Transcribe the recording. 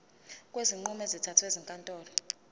kwezinqumo ezithathwe ezinkantolo